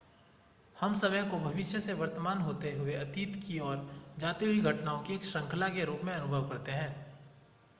हम समय को भविष्य से वर्तमान होते हुए अतीत की ओर जाती हुई घटनाओं की एक श्रृंखला के रूप में अनुभव करते हैं